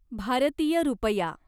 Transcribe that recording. भारतीय रुपया